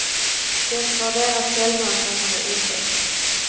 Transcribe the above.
Det var deras säljmöten som var otäcka.